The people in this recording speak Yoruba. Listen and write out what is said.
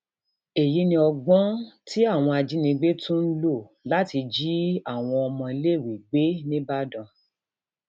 èyí ni ọgbọn um tí àwọn ajínigbé tún ń lò láti jí um àwọn àwọn ọmọọléèwé gbé níìbàdàn